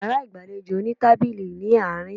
Yàrá ìgbàlejò ní tábìlì ní àárín